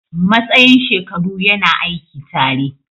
Matsayin shekaru yana aiki tare.